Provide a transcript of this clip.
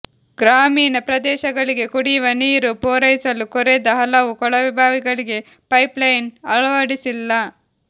ಗ್ರಾಮೀಣ ಪ್ರದೇಶಗಳಿಗೆ ಕುಡಿಯುವ ನೀರು ಪೂರೈಸಲು ಕೊರೆದ ಹಲವು ಕೊಳವೆಬಾವಿಗಳಿಗೆ ಪೈಪ್ಲೈನ್ ಅಳವಡಿಸಿಲ್ಲ